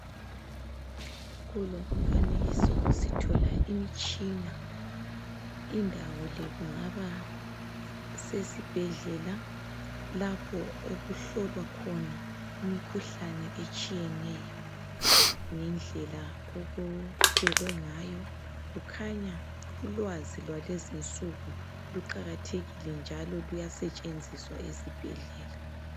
Kulo Umfanekiso sithola imtshina indawo le kungaba sesibhedlela lapho okuhlolwa khona imkhuhlane etshiyeneyo ngendlela okubekwe ngayo kukhanya ulwazi lwalezinsuku kuqakathekile njalo luyasetshenziswa ezibhedlela